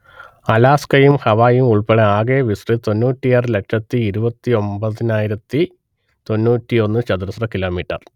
അലാസ്കയും ഹാവായിയും ഉൾപ്പെടേ ആകെ വിസ്തൃതി തൊണ്ണൂറ്റിയാറ് ലക്ഷത്തിയിരുപത്തിയൊമ്പത്തിയായിരത്തി തൊണ്ണൂറ്റിയൊന്ന്ചതുരശ്ര കിലോമീറ്റർ